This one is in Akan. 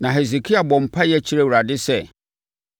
Na Hesekia bɔɔ mpaeɛ kyerɛɛ Awurade sɛ: